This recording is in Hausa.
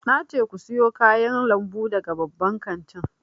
Na ce ku siyo kayan lambu daga babban kantin!